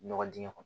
Ɲɔgɔ dingɛ kɔnɔ